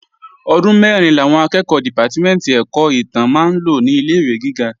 Ọdún mẹ́rin làwọn akẹ́ẹ̀kọ́ dìpátímẹ̀ntì ẹ̀kọ́ ìtàn máa ń lò ní ilé-ìwé gíga